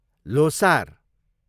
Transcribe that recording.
Losar